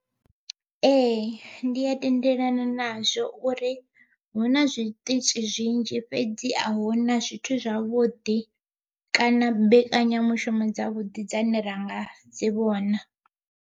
Ee ndi a tendelana nazwo uri hu na zwiṱitzhi zwinzhi fhedzi ahuna zwithu zwavhuḓi kana mbekanyamushumo dza vhuḓi dzane ra nga dzi vhona.